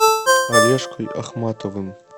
олежкой ахматовым